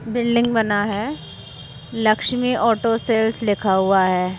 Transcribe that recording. Building बना है। Lakshmi auto sales लिखा हुआ है।